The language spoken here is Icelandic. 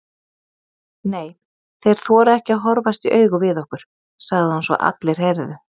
Nei, þeir þora ekki að horfast í augu við okkur, sagði hún svo allir heyrðu.